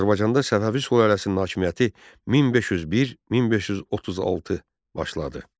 Azərbaycanda Səfəvi sülaləsinin hakimiyyəti 1501-1536 başladı.